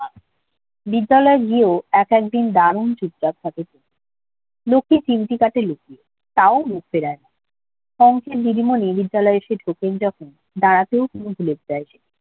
বিদ্যালয়টি ও একদিন দারুন চুপচাপ থাকে। লোকটির ছিমটি কাটে লোকটি তাও মুখ ফেরায় অংকের দিদিমণি বিদ্যালয়ে এসে ঢোকেন যখন বাড়াতেও নেম ফুলের চাষ